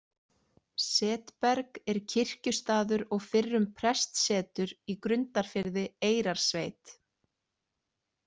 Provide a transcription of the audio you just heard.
Setberg er kirkjustaður og fyrrum prestssetur í Grundarfirði, Eyrarsveit.